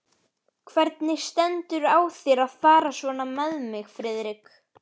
Hvernig stendur á þér að fara svona með mig, Friðrik?